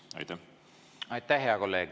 Aitäh, hea kolleeg!